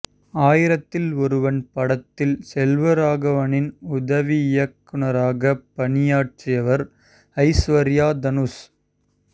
ஆயிரத்தில் ஒருவன் படத்தில் செல்வராகவனின் உதவி இயக்குநராகப் பணியாற்றியவர் ஐஸ்வர்யா தனுஷ்